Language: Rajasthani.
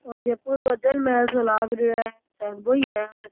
ओ जयपुर को जल महल सो लाग रियो है सायद बो ही है।